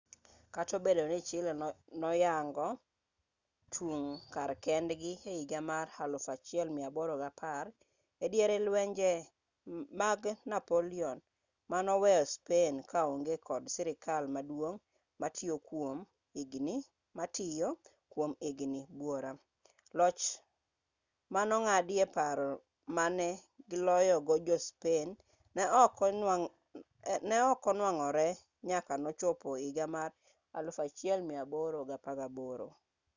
kata obedo ni chile noyango chung' kar kendgi e higa mar 1810 e diere lwenje mag napoleon manoweyo spain kaonge kod sirkal maduong' matiyo kwom higni buora loch manong'adie paro mane giloyogo jo-spain ne ok onwang'ore nyaka nochopo higa mar 1818